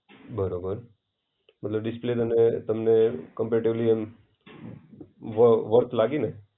બરોબર. એટલે ડિસ્પ્લે તમને તમને કમ્પૅરેટિવલી એમ વર્થ વર્થ લાગીને?